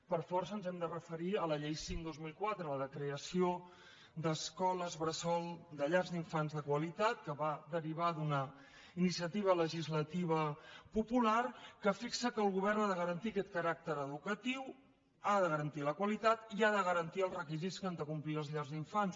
per força ens hem de referir a la llei cinc dos mil quatre de crea ció d’escoles bressol de llars d’infants de qualitat que va derivar d’una iniciativa legislativa popular que fixa que el govern ha de garantir aquest caràcter educatiu ha de garantir la qualitat i ha de garantir els requisits que han de complir les llars d’infants